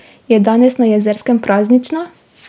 Je danes na Jezerskem praznično?